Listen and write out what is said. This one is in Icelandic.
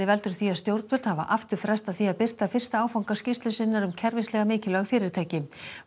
veldur því að stjórnvöld hafa aftur frestað því að birta fyrsta áfanga skýrslu sinnar um kerfislega mikilvæg fyrirtæki